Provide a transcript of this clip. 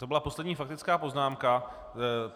To byla poslední faktická poznámka.